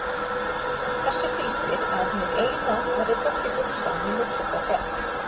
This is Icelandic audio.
Þessu fylgir að hið Eina verður hvorki hugsað né hugsar það sjálft.